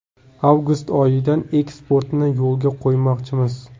Avgust oyidan eksportni yo‘lga qo‘ymoqchimiz.